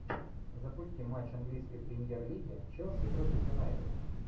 запусти матч английской премьер лиги челси против юнайтед